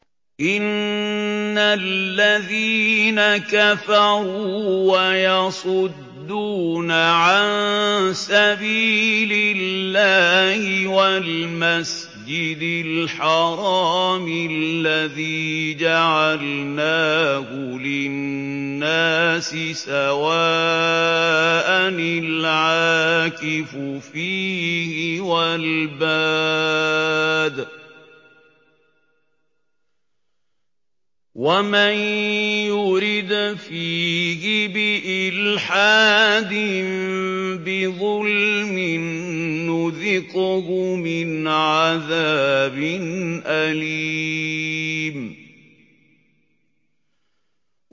إِنَّ الَّذِينَ كَفَرُوا وَيَصُدُّونَ عَن سَبِيلِ اللَّهِ وَالْمَسْجِدِ الْحَرَامِ الَّذِي جَعَلْنَاهُ لِلنَّاسِ سَوَاءً الْعَاكِفُ فِيهِ وَالْبَادِ ۚ وَمَن يُرِدْ فِيهِ بِإِلْحَادٍ بِظُلْمٍ نُّذِقْهُ مِنْ عَذَابٍ أَلِيمٍ